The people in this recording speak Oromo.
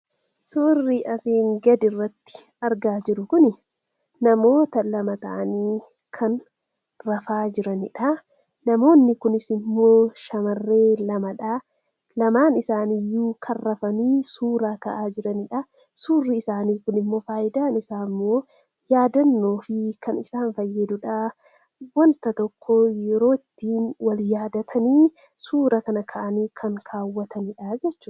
Suurri gaditti argamu kun namoota lama taa'aanii rafaa jiranii dha. Namoonni Kunis immoo shamarran lamaa dha. Lamaan isaaniis kan rafanii jiranii fi suuraa isaaniis yaadannoof kan isaan fayyaduu dha.